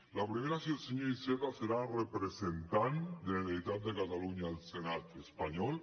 la primera és si el senyor iceta serà representant de la generalitat de catalunya al senat espanyol